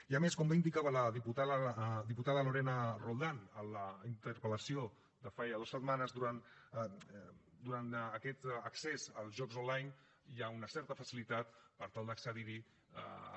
i a més com ja indicava la diputada lorena roldán a la interpel·lació de fa ja dues setmanes durant aquest accés als jocs online hi ha una certa facilitat per tal d’accedir hi amb